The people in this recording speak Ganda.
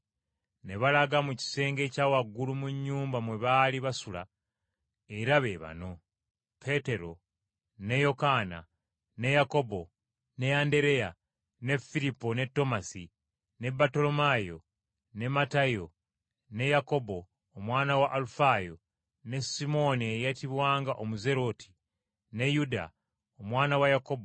Ne balaga mu kisenge ekya waggulu mu nnyumba mwe baali basula, era be bano: Peetero, ne Yokaana ne Yakobo, ne Andereya, ne Firipo ne Tomasi, ne Battolomaayo, ne Matayo, ne Yakobo, omwana wa Alufaayo, ne Simooni eyayitibwanga “Omuzerote ”, ne Yuda, omwana wa Yakobo.